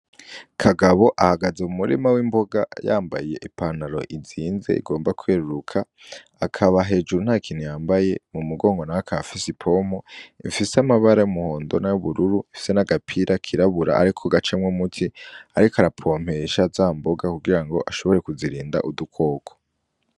Kagabo ahagaze mu murima w'imboga yambaye ipantaro izinze igomba kweruruka, akaba hejuru nta kintu yambaye, mu mugongo naho akaba afise ipompo ifise amabara y'umuhondo n'ayubururu ifise n'agapira kirabura ariko gacamwo umuti ariko arapompesha za mboga kugira ngo ashobore kuzirinda udukoko.